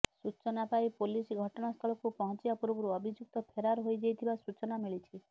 ସୂଚନା ପାଇ ପୁଲିସ ଘଟଣାସ୍ଥଳକୁ ପହଂଚିବା ପୂର୍ବରୁ ଅଭିଯୁକ୍ତ ଫେରାର ହୋଇଯାଇଥିବା ସୂଚନା ମିଳିଛି